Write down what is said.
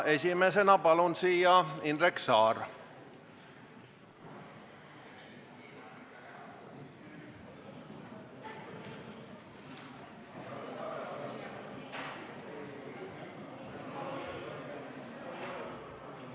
Esimesena palun siia Indrek Saare!